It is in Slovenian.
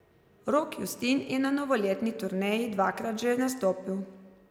Rok Justin je na novoletni turneji dvakrat že nastopil.